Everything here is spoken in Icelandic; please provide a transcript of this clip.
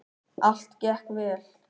Allt gekk vel.